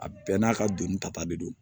A bɛɛ n'a ka doni ta de don